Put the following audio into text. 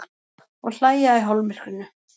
Og hlæja í hálfmyrkrinu.